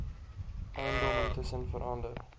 eiendom intussen verander